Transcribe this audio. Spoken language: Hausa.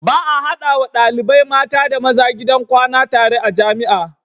Ba a hadawa ɗalibai mata da maza gidan kwana tare a jamia